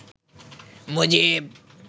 Mujib